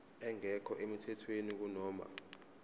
engekho emthethweni kunoma